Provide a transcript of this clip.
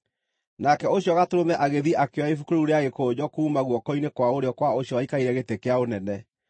Nake ũcio Gatũrũme agĩthiĩ akĩoya ibuku rĩu rĩa gĩkũnjo kuuma guoko-inĩ kwa ũrĩo kwa ũcio waikarĩire gĩtĩ kĩa ũnene.